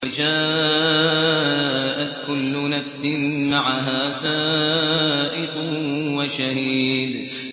وَجَاءَتْ كُلُّ نَفْسٍ مَّعَهَا سَائِقٌ وَشَهِيدٌ